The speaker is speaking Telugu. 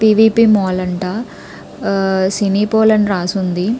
పి.వి.పి. మాల్ అంట సినీ పాల్ అని రాసి ఉంది.